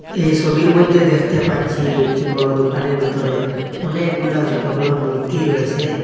এই সবির মইদ্যে দ্যাখতে পাচ্ছি একটি বড় দোকানের বিতরে অনেকগুলা সোটো বড় মূর্তি রয়েসে।